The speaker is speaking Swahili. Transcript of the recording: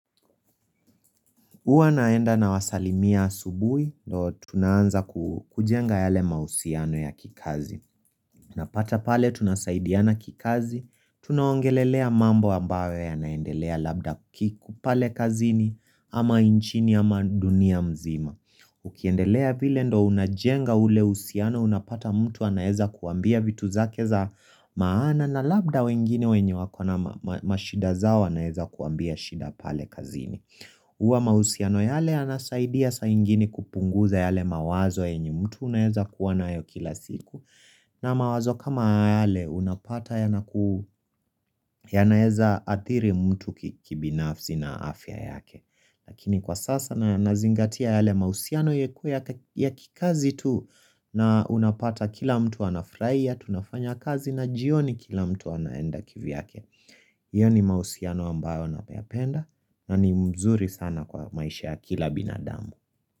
Uwa naenda na wasalimia asubui. Tunaanza kujenga yale mahusiano ya kikazi. Napata pale tunasaidiana kikazi. Tunaongelelea mambo ambayo yanaendelea labda kiko pale kazini ama nchini ama dunia mzima. Ukiendelea vile ndo unajenga ule uhusiano. Unapata mtu anaeza kuambia vitu zake za maana na labda wengine wenye wako na mashida zao anaeza kuambia shida pale kazini. Uwa mahusiano yale yanasaidia sa ingine kupunguza yale mawazo yenye mtu unaweza kuwa nayo kila siku na mawazo kama yale unapata yanaeza athiri mtu kibinafsi na afya yake Lakini kwa sasa nazingatia yale mahusiano yaku ya kikazi tu na unapata kila mtu anafuraia Tunafanya kazi na jioni kila mtu anaenda kivyake Iyo ni mahusiano ambayo nayapenda na ni mzuri sana kwa maisha ya kila binadamu.